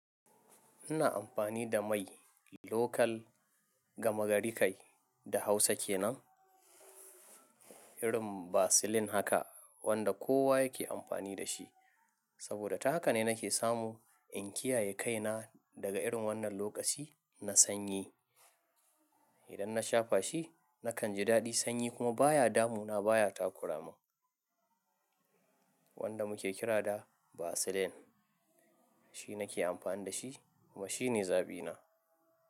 Ina amfani da mai lokal gama gari kai da Hausa kenan, irin Vaseline haka wanda kowa yake amfani da shi. Sabida ta haka ne nake samu in kiyaye kaina daga irin wannan lokaci na sanyi. Idan na shafa shi nakan ji daɗi, sanyi kuma baya damu na baya takura min. Wanda muke kira da Vaseline, shi nake amfani da shi kuma shine zaɓina.